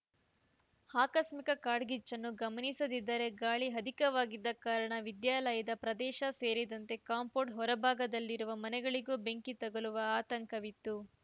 ಆಕಸ್ಮಿಕ ಕಾಡ್ಗಿಚ್ಚನ್ನು ಗಮನಿಸದಿದ್ದರೆ ಗಾಳಿ ಅಧಿಕವಾಗಿದ್ದ ಕಾರಣ ವಿದ್ಯಾಲಯದ ಪ್ರದೇಶ ಸೇರಿದಂತೆ ಕಾಂಪೌಂಡ್‌ ಹೊರಭಾಗದಲ್ಲಿರುವ ಮನೆಗಳಿಗೂ ಬೆಂಕಿ ತಗಲುವ ಆತಂಕವಿತ್ತು